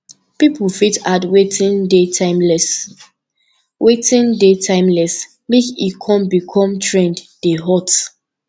pipo fit add wetin dey timeless wetin dey timeless make e come become trend dey hot